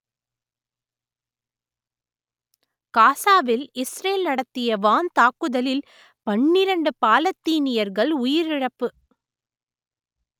காசாவில் இஸ்ரேல் நடத்திய வான் தாக்குதலில் பன்னிரண்டு பாலத்தீனியர்கள் உயிரிழப்பு